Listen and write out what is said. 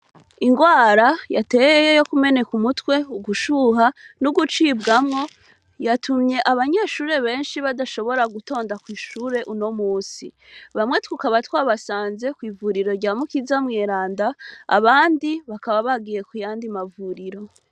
Ingwara yateye yo kumeneka umutwe, ugushuha n'ugucibwamwo, yatumye abanyeshure benshi badashobora gutonda kwishure uno musi. Bamwe tukaba twabasanze kw'ivuriro rya Mukiza Mweranda, abandi bakaba bagiye kuyamdi mavuriro.